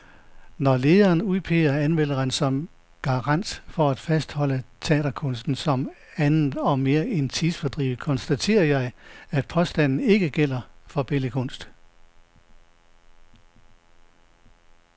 Når lederen udpeger anmelderen som garant for at fastholde teaterkunsten som andet og mere end tidsfordriv, konstaterer jeg, at påstanden ikke gælder for billedkunst.